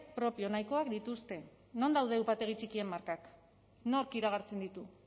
propio nahikoak dituzte non daude upategi txikien markak nork iragartzen ditu